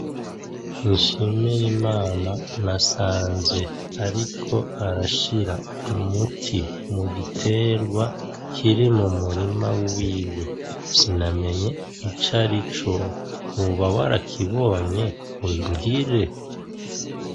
Nshimirimana nasanze ariko arashira umuti mu gitegwa kiri mu murima wiwe, sinamenye icarico, woba warakibonye umbwire?.